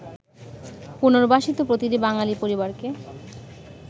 পুনর্বাসিত প্রতিটি বাঙালি পরিবারকে